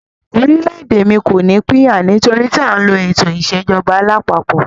Orílẹ̀-èdè mí kò ní pín yà, nítorí tí a ń lo ètò ìṣèjọba alápapọ̀.